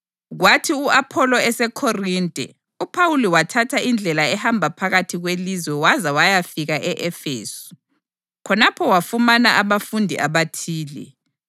Kwathi u-Apholo eseKhorinte uPhawuli wathatha indlela ehamba phakathi kwelizwe waze wayafika e-Efesu. Khonapho wafumana abafundi abathile,